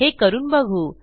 हे करून बघू